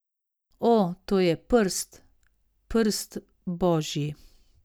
O, to je Prst, Prst božji!